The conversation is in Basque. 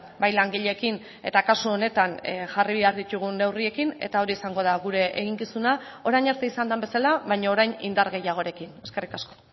bai langileekin eta kasu honetan jarri behar ditugun neurriekin eta hori izango da gure eginkizuna orain arte izan den bezala baina orain indar gehiagorekin eskerrik asko